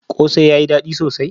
Kose yayi dadi sosai?